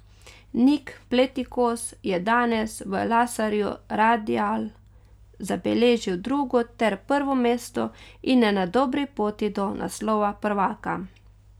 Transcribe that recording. Nik Pletikos je danes v laserju radial zabeležil drugo ter prvo mesto in je na dobri poti do naslova prvaka.